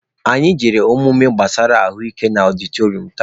Anyị jere ọmụmụ gbasara ahụ ike na ọdịtọrịọm taa.